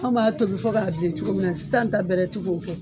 An b'a tobi fɔ k'a bilen cogo min na sisan ta bɛrɛ ti k'o kɛ.